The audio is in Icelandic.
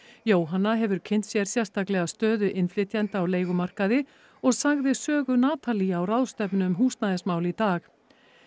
Jóhanna hefur kynnt sér sérstaklega stöðu innflytjenda á leigumarkaði og sagði sögu á ráðstefnu um húsnæðismál í dag